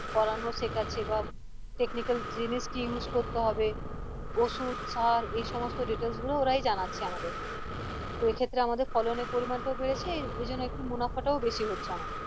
করানো শেখাচ্ছে বা technical জিনিস কি use করতে হবে ওষুধ সার এই সমস্ত details গুলো ওরাই জানাচ্ছে আমাদের তো এক্ষেত্রে আমাদের ফলন এর পরিমান টাও বেড়েছে এজন্য একটু মুনাফা টাও বেশি হচ্ছে আমাদের